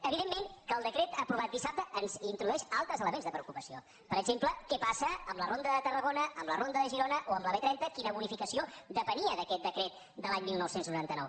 evidentment que el decret aprovat dissabte ens introdueix altres elements de preocupació per exemple què passa amb la ronda de tarragona amb la ronda de girona o amb la b trenta la bonificació de les quals depenia d’aquest decret de l’any dinou noranta nou